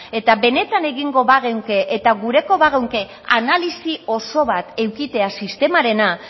eta benetan egingo bageunke eta gure bageunke analisi oso bat edukitzea sistemarena